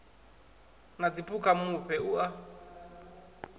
na dziphukha mufhe u a